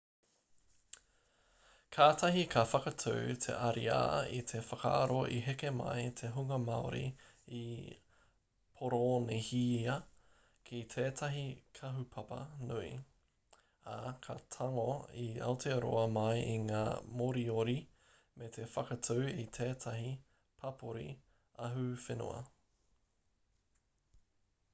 kātahi ka whakatū te ariā i te whakaaro i heke mai te hunga māori i poronīhia ki tētahi kahupapa nui ā ka tango i aotearoa mai i ngā moriori me te whakatū i tētahi papori ahuwhenua